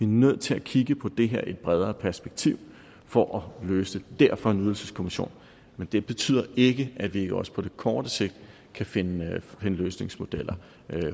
nødt til at kigge på det her i et bredere perspektiv for at løse det derfor en ydelseskommission men det betyder ikke at vi ikke også på kort sigt kan finde løsningsmodeller